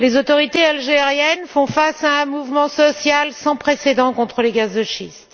Les autorités algériennes font face à un mouvement social sans précédent contre les gaz de schiste.